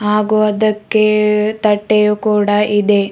ಹಾಗು ಅದಕ್ಕೆ ತಟ್ಟೆಯು ಕೂಡ ಇದೆ.